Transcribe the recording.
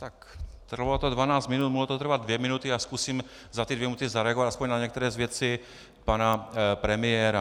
Tak, trvalo to dvanáct minut, mohlo to trvat dvě minuty, já zkusím za ty dvě minuty zareagovat alespoň na některé z věcí pana premiéra.